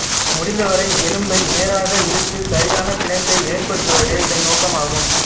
முடிந்தவரை எலும்பை நேராக இழுத்து சரியான பிணைப்பை ஏற்படுத்துவதே இதன் நோக்கமாகும்